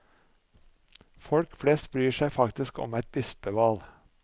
Folk flest bryr seg faktisk om eit bispeval.